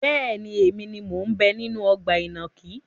Bẹ́ẹ̀ni, èmi ni mo ń bẹ nínú ọgbà ìnàkí.